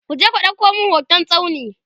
kuje ku ɗauko min hoton tsauni!